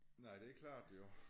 Nej det er klart jo